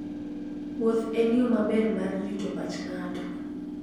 Wuoth en yo maber mar rito pach ng'ato.